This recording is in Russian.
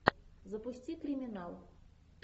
запусти криминал